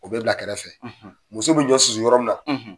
O bɛ bila kɛrɛfɛ muso bɛ ɲɔ susu yɔrɔ min na